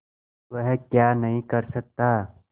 वह क्या नहीं कर सकता